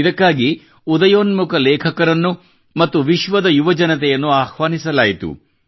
ಇದಕ್ಕಾಗಿ ಉದಯೋನ್ಮುಖ ಲೇಖಕರನ್ನು ಮತ್ತು ವಿಶ್ವದ ಯುವಜನತೆಯನ್ನು ಆಹ್ವಾನಿಸಲಾಯಿತು